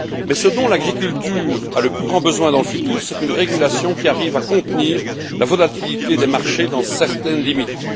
Mais ce dont l'agriculture a le plus grand besoin dans le futur, c'est d'une régulation qui arrive à contenir la volatilité des marchés dans certaines limites.